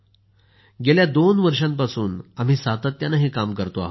गेल्या दोन वर्षांपासून आम्ही सातत्यानं हे काम करतो आहोत